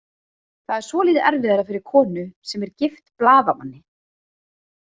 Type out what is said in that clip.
Það er svolítið erfiðara fyrir konu sem er gift blaðamanni.